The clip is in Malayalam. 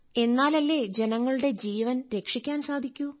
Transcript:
എന്നാലല്ലേ ജനങ്ങളുടെ ജീവൻ രക്ഷിക്കാൻ സാധിക്കു